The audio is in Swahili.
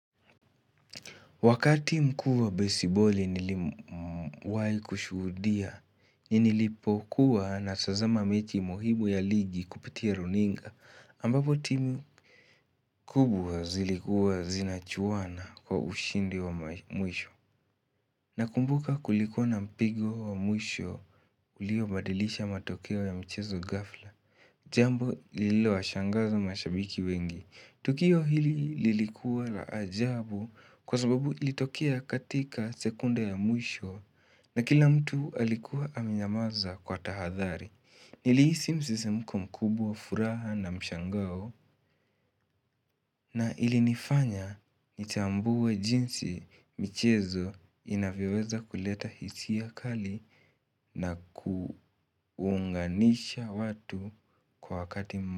Wakati mkuu wa baseballi nilim wahi kushuhudia nilipokuwa natazama mechi muhibu ya ligi kupitia runinga ambapo timu kubwa zilikuwa zinachuwana kwa ushindi wa mwisho Nakumbuka kulikua na mpigo wa mwisho uliobadilisha matokeo ya mchezo ghafla Jambo lililo washangaza mashabiki wengi Tukio hili lilikuwa la ajabu kwa sababu ilitokea katika sekunde ya mwisho na kila mtu alikuwa amenyamaza kwa tahadhari Nilihisi msisimko mkubwa furaha na mshangao na ilinifanya nitambuwe jinsi michezo inavyoweza kuleta hisia kali na kuunganisha watu kwa wakati mwisho.